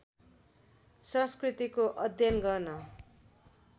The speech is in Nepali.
संस्कृतिको अध्ययन गर्न